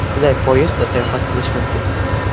Qulay poyezdda sayohat qilish mumkin.